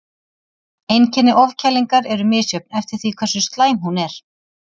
Einkenni ofkælingar eru misjöfn eftir því hversu slæm hún er.